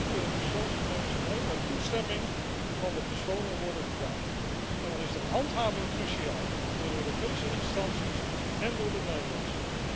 Dan kunnen persoonsgegevens alleen met toestemming van de personen worden gebruikt, en dan is de handhaving cruciaal door Europese instanties en door de Nederlandse.